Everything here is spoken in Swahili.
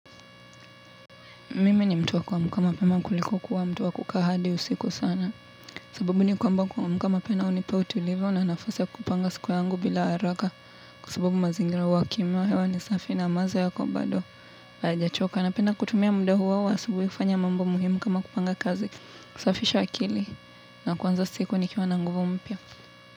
Mimi ni mtu wa kuamka mapema kuliko kuwa mtu wa kukaa hadi usiku sana. Sababu ni kwamba kuamka mapena hunipa utulivu na nafasi ya kupanga siku yangu bila haraka. Kwa sabubu mazingira huwa kima, hewa ni safi na maza yako bado. Hayajachoka, napenda kutumia mda huo wa asubui kufanya mambo muhimu kama kupanga kazi. Kusafisha akili. Na kuanza siku nikiwa na nguvu mpya.